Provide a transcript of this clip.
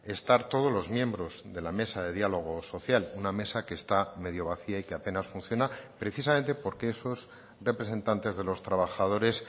estar todos los miembros de la mesa de diálogo social una mesa que está medio vacía y que apenas funciona precisamente porque esos representantes de los trabajadores